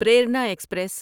Prerana express